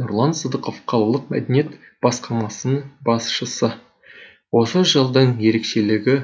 нұрлан сыдықов қалалық мәдениет басқармасының басшысы осы жылдың ерекшелігі